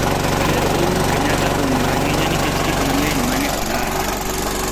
Ker Ouru Kenyatta ong'ur ahinya nikech gik mang'eny mane olalo